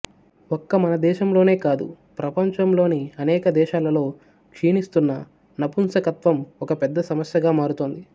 ఒక్క మన దేశంలోనే కాదు ప్రపంచంలోని అనేక దేశాలలో క్షీణిస్తున్న నపుంసకత్వం ఒక పెద్ద సమస్యగా మారుతోంది